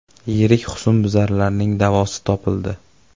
Yirik husnbuzarning davosi topildi.